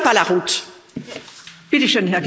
Das war sehr laut gebrüllt.